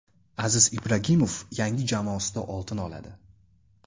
Aziz Ibragimov yangi jamoasida oltin oladi.